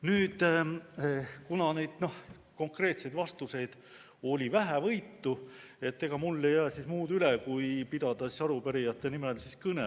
Nüüd, kuna konkreetseid vastuseid oli vähevõitu, siis ega mul ei jää muud üle kui pidada arupärijate nimel kõne.